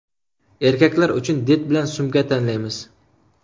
Erkaklar uchun did bilan sumka tanlaymiz.